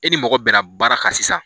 E ni mɔgɔ bɛnna baara kan sisan